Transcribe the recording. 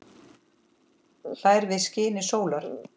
hlær við skini sólar